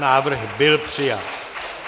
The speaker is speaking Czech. Návrh byl přijat.